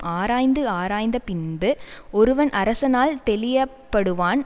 ஆராய்ந்து ஆராய்ந்தபின்பு ஒருவன் அரசனால் தெளிய படுவான்